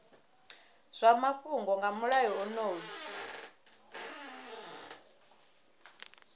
zwa mafhungo nga mulayo onoyu